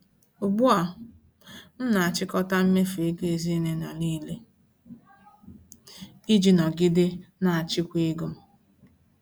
Ugbu a, m na-achịkọta mmefu ego ezinụlọ niile iji nọgide na-achịkwa ego m.